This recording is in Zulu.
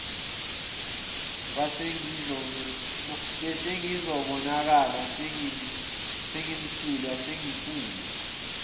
besengizobonakala sengimsulwa sengifana